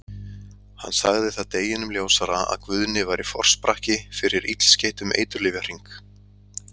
Hann sagði það deginum ljósara að Guðni væri forsprakki fyrir illskeyttum eiturlyfjahring.